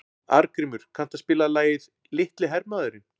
Arngrímur, kanntu að spila lagið „Litli hermaðurinn“?